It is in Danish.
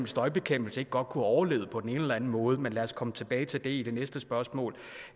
støjbekæmpelse ikke godt kunne have overlevet på den ene eller den anden måde men lad os komme tilbage til det i det næste spørgsmål